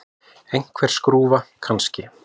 Einhver skrúfa, kannski.